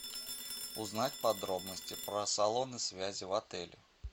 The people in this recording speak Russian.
узнать подробности про салоны связи в отеле